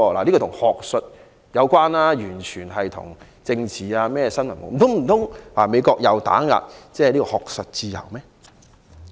這與學術有關，完全與政治無關，難道美國又打壓學術自由？